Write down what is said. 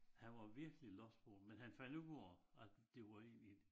Han var virkelig lost på det men han fandt ud af at det var egentlig